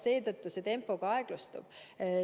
Seetõttu tempo aeglustub.